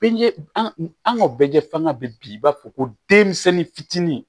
Bɛɛ an ka bɛɛ fanga bɛ bi i b'a fɔ ko denmisɛnnin fitinin